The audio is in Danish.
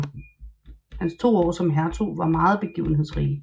Hans to år som hertug var meget begivenhedsrige